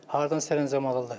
Hardan sərəncam alırlar?